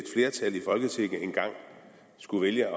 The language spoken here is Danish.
folketinget engang skulle vælge